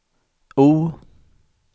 O